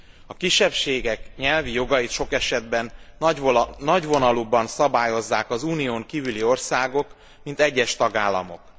A kisebbségek nyelvi jogait sok esetben nagyvonalúbban szabályozzák az Unión kívüli országok, mint egyes tagállamok.